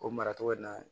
O maracogo in na